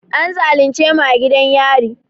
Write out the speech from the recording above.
An zalunce mu a gidan yari